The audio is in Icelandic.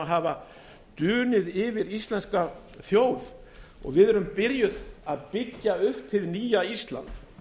hafa dunið yfir íslenska þjóð og við erum byrjuð að byggja upp hið nýja ísland